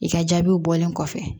I ka jaabiw bɔlen kɔfɛ